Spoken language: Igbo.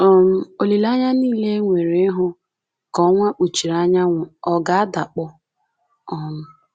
um Olileanya nile e nwere ịhụ ka ọnwa kpuchiri anyanwụ ọ̀ ga-adakpọ? um